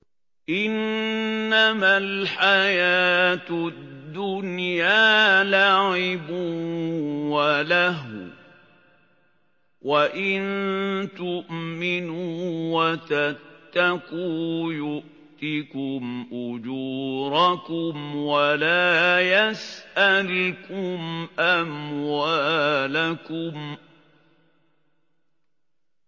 إِنَّمَا الْحَيَاةُ الدُّنْيَا لَعِبٌ وَلَهْوٌ ۚ وَإِن تُؤْمِنُوا وَتَتَّقُوا يُؤْتِكُمْ أُجُورَكُمْ وَلَا يَسْأَلْكُمْ أَمْوَالَكُمْ